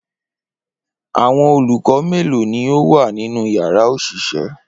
Awọn olukọ melo ni o wa ninu yara oṣiṣẹ